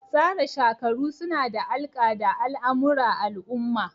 Tsara shakaru suna da alƙa da al'amura al'umma.